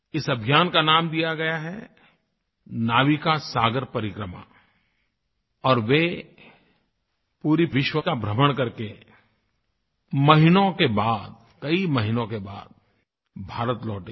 इस अभियान का नाम दिया गया है नाविका सागर परिक्रमा और वे पूरे विश्व का भ्रमण करके महीनों के बाद कई महीनों के बाद भारत लौटेगी